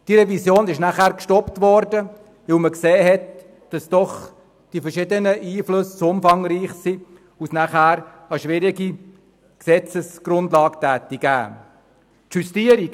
Diese Revision wurde gestoppt, weil man sah, dass die verschiedenen Einflüsse zu umfangreich waren und eine schwierige Gesetzesgrundlage resultiert hätte.